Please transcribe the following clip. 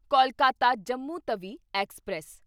Kolkata Jammu Tawi express